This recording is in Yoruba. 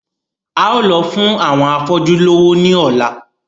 A óò lọ fún àwọn afọ́jú lówó ní ọ̀la